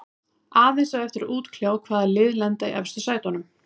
Aðeins á eftir að útkljá hvaða lið lenda í efstu sætunum.